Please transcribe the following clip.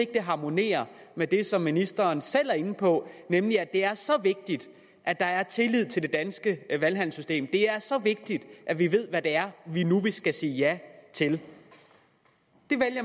det harmonerer med det som ministeren selv er inde på nemlig at det er så vigtigt at der er tillid til det danske valgsystem det er så vigtigt at vi ved hvad det er vi nu skal sige ja til